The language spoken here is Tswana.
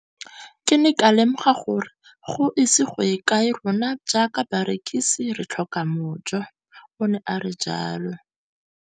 Ke ne ka lemoga gore go ise go ye kae rona jaaka barekise re tla tlhoka mojo, o ne a re jalo.